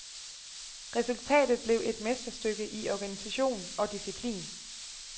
Resultatet blev et mesterstykke i organisation og disciplin.